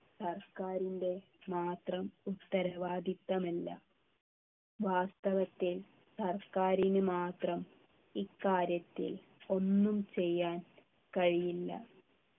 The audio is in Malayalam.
സർക്കാരിൻ്റെ മാത്രം ഉത്തരവാദിത്വമല്ല വാസ്തവത്തിൽ സർക്കാരിന് മാത്രം ഇക്കാര്യത്തിൽ ഒന്നും ചെയ്യാൻ കഴിയില്ല